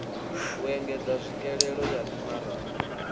u engedza tswikelelo ya mimaraga